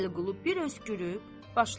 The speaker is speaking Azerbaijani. Vəliqulu bir öskürüb başladı.